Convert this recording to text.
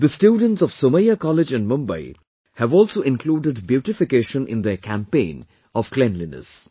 The students of Somaiya College in Mumbai have also included beautification in their campaign of cleanliness